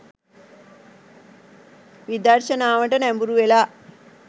විදර්ශනාවට නැඹුරුවෙලා